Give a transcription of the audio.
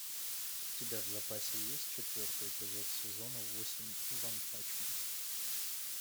у тебя в запасе есть четвертый эпизод сезона восемь ванпанчмен